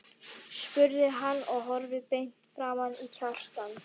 spurði hann og horfði beint framan í Kjartan.